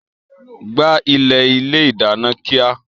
Gbá ilẹ̀ ilé ìdáná kíá!